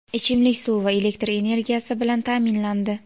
ichimlik suvi va elektr energiyasi bilan ta’minlandi.